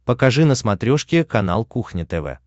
покажи на смотрешке канал кухня тв